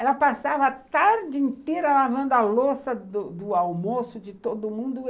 Ela passava a tarde inteira lavando a louça do almoço de todo mundo.